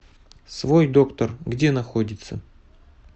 свой доктор где находится